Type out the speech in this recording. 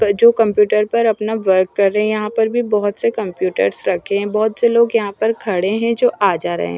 जो कंप्यूटर पर अपना वर्क कर रे यहाँ पर भी बोहोत से कंप्यूटरस रखे है बोहोत से लोग यहाँ पर खड़े है जो आ जारे है।